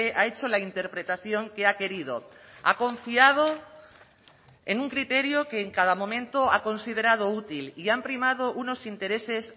ha hecho la interpretación que ha querido ha confiado en un criterio que en cada momento ha considerado útil y han primado unos intereses